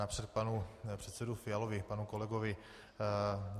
Napřed panu předsedovi Fialovi, panu kolegovi.